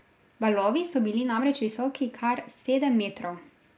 Valovi so bili namreč visoki kar sedem metrov.